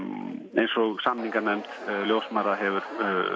eins og samninganefnd ljósmæðra hefur